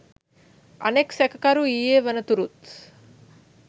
අනෙක්‌ සැකකරු ඊයේ වනතුරුත්